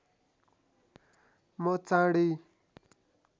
म चाँडै